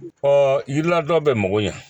yiriladɔ bɛ mago ɲɛ